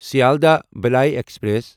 Sealdah Ballia express